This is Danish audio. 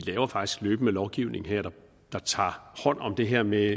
faktisk løbende laver lovgivning der tager hånd om det her med